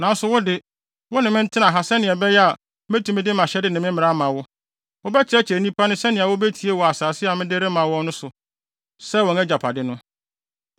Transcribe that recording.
Nanso wo de, wo ne me ntena ha sɛnea ɛbɛyɛ a metumi de mʼahyɛde ne me mmara ama wo. Wobɛkyerɛkyerɛ nnipa no sɛnea wobetie wɔ asase a mede rema wɔn no so sɛ wɔn agyapade no.”